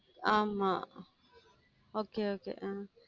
ஆமாம் okay okay உம்